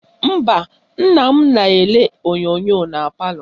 Mba, nna m na-elele onyonyo na palọ